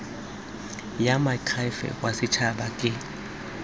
ya moakhaefe wa setshaba ke